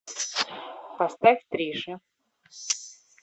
поставь триши